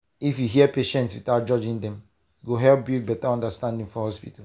if you hear patients without judging dem e go help build better understanding for hospital.